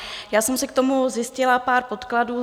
Já jsem si k tomu zjistila pár podkladů.